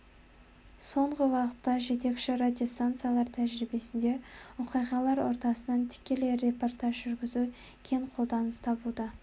соңғы уақытта жетекші радиостанциялар тәжірибесінде оқиғалар ортасынан тікелей репортаж жүргізу кең қолданыс табуда